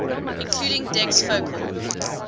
including dec's focal